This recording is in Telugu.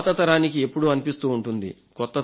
పాత తరానికి ఎప్పుడూ అనిపిస్తూ ఉంటుంది